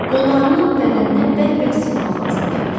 Qollarını bədəninə bərk-bərk sıxmaq lazım gəlir.